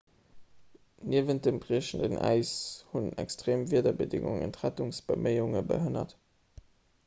niewent dem briechenden äis hunn extreem wiederbedéngungen d'rettungsbeméiunge behënnert